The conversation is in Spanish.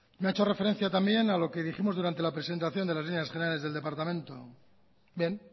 me ha hecho referencia también a lo que dijimos durante la presentación de las líneas generales del departamento bien